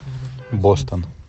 бостон